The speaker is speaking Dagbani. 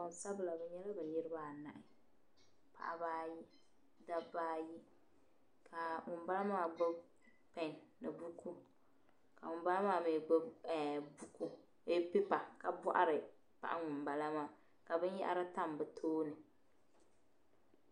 Gbansabila bɛ nyɛla bɛ niriba anahi paɣiba ayi dabba ayi ka ŋumbala maa gbibi pɛn ni buku ka ŋumbala maa mi gbibi ɛɛh buku eeh pipa ka bɔhiri paɣa ŋumbala maa ka binyɛhari tam bɛ tooni.